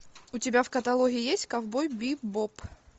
у тебя в каталоге есть ковбой бибоп